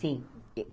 Sim.